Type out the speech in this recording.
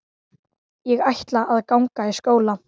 Ég ætla að ganga í skóla.